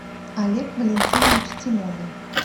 олег валентинович тимонин